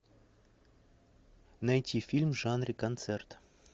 найти фильм в жанре концерт